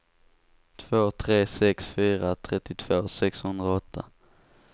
två tre sex fyra trettiotvå sexhundraåtta